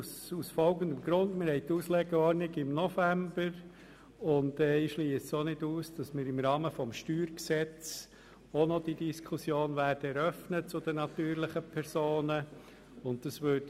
Die Auslegeordnung findet im November statt und ich schliesse auch nicht aus, dass wir im Rahmen des Steuergesetzes die Diskussion über die natürlichen Personen ebenfalls eröffnen werden.